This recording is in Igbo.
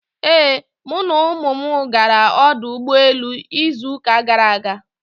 Ee, mụ na ụmụ m gara ọdụ ụgbọ elu izu uka gara aga.